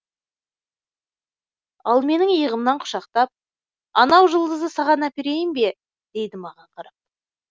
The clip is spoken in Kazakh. ол менің иығымнан құшақтап анау жұлдызды саған әперейін бе дейді маған қарап